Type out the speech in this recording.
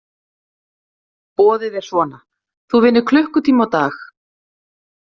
Boðið er svona: þú vinnur klukkutíma á dag.